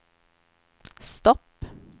stopp